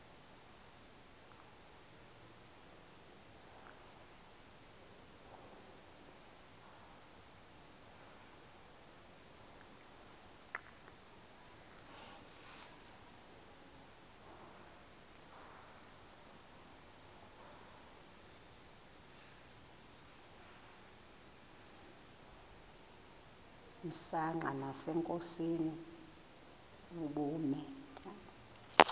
msanqa nasenkosini ubume